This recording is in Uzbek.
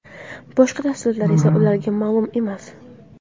Boshqa tafsilotlar esa ularga ma’lum emas.